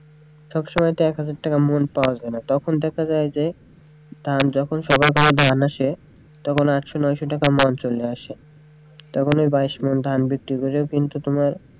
সব সময় তো এক হাজার টাকা মূল পাওয়া যায়না তখন দেখা যায়যে ধান যখন সবার ঘরে ধান আসে তখন আটশো নয়শ টাকা মূল চলে আসে তখন ওই ধান কিন্তু,